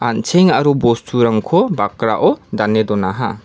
an·cheng aro bosturangko bakrao dane donaha.